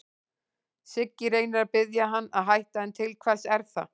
Siggi reynir að biðja hann að hætta, en til hvers er það?